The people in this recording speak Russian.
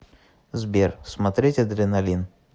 сбер смотреть адреналин